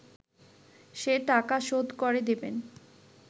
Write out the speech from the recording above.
সে টাকা শোধ করে দেবেন